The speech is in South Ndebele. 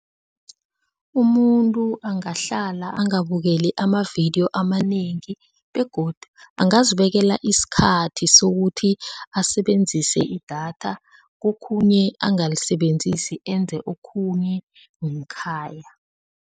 Umuntu angahlala angabukeli amavidiyo amanengi begodu angazibekela isikhathi sokuthi asebenzise idatha kokhunye angalisebenziseli enze okhunye ngekhaya.